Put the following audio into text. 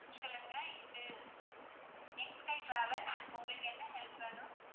சொல்லுங்க இது, travels உங்களுக்கு என்ன help வேணும்?